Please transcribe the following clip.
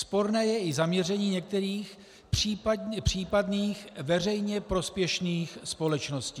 Sporné je i zaměření některých případných veřejně prospěšných společností.